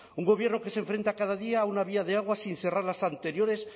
un gobierno que se enfrenta cada día a una vía de agua sin cerrar las anteriores